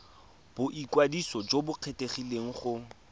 boikwadiso jo bo kgethegileng go